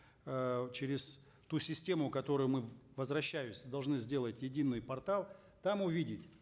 э через ту систему которую мы возвращаюсь должны сделать единый портал там увидеть